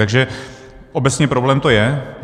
Takže obecně problém to je.